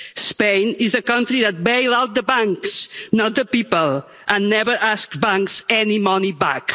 Spain is the country that bails out the banks, not the people, and never ask banks for any money back.